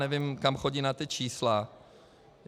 Nevím, kam chodí na ta čísla.